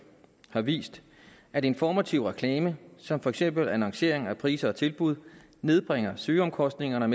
har vist at informativ reklame som fx annoncering af priser og tilbud nedbringer søgeomkostningerne og